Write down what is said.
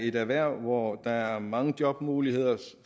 et erhverv hvor der er mange jobmuligheder